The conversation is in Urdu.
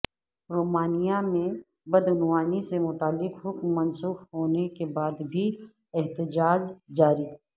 رومانیہ میں بدعنوانی سے متعلق حکم منسوخ ہونے کے بعد بھی احتجاج جاری